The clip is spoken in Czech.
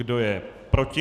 Kdo je proti?